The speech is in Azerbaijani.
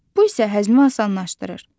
Bu isə həzmi asanlaşdırır.